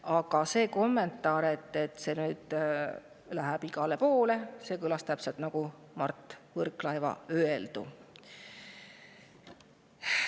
Aga see kommentaar, et see läheb nüüd igale poole, kõlas täpselt nagu Mart Võrklaeva öeldu.